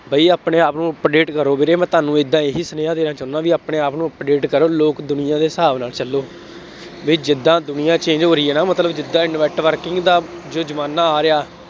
ਬਈ ਆਪਣੇ ਆਪ ਨੂੰ update ਕਰੋ ਵੀਰੇ, ਮੈਂ ਤੁਹਾਨੂੰ ਏਦਾਂ ਇਹੀ ਸੁਨੇਹਾ ਦੇਣਾ ਚਾਹੁੰਦਾ, ਬਈ ਆਪਣੇ ਆਪ ਨੂੰ update ਕਰੋ। ਲੋਕ ਦੁਨੀਆ ਦੇ ਹਿਸਾਬ ਨਾਲ ਚੱਲੋ। ਬਈ ਜਿਦਾਂ ਦੁਨੀਆਂ change ਹੋ ਰਹੀ ਹੈ ਨਾ, ਮਤਲਬ ਜਿਦਾਂ networking ਦਾ ਜੋ ਜ਼ਮਾਨਾ ਆ ਰਿਹਾ।